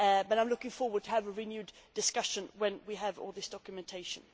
I am looking forward to having a renewed discussion when we have all this documentation.